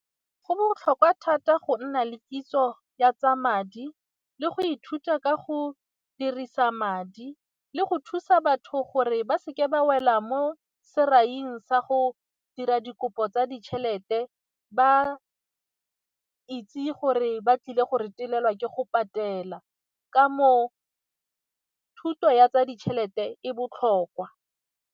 Go botlhokwa thata go nna le kitso ya tsa madi le go ithuta ka go dirisa madi le go thusa batho gore ba seke ba wela mo sa go dira dikopo tsa ditšhelete, ba itse gore ba tlile go retelelwa ke go patela ka moo thuto ya tsa ditšhelete e botlhokwa.